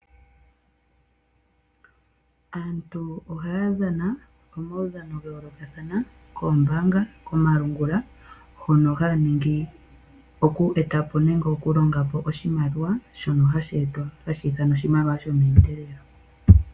Aantu ohaya dhana omaudhano gayoolokathana koombaanga, komalungula hono haya ningi oku etapo nenge okulonga po oshimaliwa, shono hashi ithanwa oshimaliwa shomeendelelo.